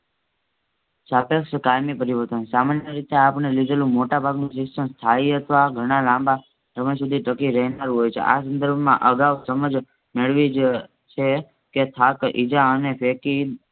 કાળ ની પરિવર્તન સામાન્ય રીતે આપણે લીધેલી મોટાભાગનું શિક્ષણ થાય અથવા ધણા લાંબા સમય શુધી રહેનારું હોય છે. આ સંદર્ભમાં અગાવ સમજ મેળવી જ છે કે થાક ઇજા અને